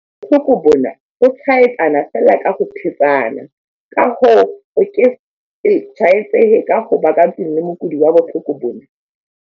Bohloko bona, bo tshwaetsana feela ka ho thetsana, ka hoo, o ke se tshwaetsehe ka ho ba ka tlung le mokudi wa bohloko bona.